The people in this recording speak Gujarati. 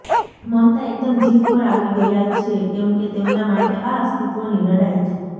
મમતા એકદમ જીવ પર આવી ગયાં છે કેમ કે તેમના માટે આ અસ્તિત્વની લડાઈ છે